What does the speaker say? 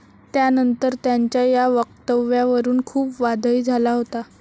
त्यानंतर त्यांच्या या वक्तव्यावरून खूप वादही झाला होता.